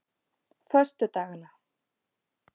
föstudagana